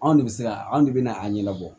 Anw de bɛ se ka anw de bɛ na a ɲɛnabɔ